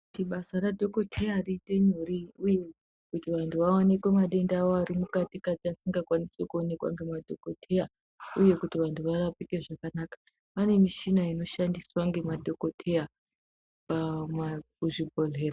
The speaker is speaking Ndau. Basa radhokodheya kuti riite nyore uye kuti vantu vaonekwe madenda avo ari mukati kati asingakwanisi kuonekwa nemadhokodheya uye kuti vanthu varapike zvakanaka kune michina inoshandiswe nemadhokodheya kuzvibhedhlera.